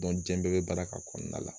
jiɲɛ bɛɛ be baara kɛ a kɔnɔna la.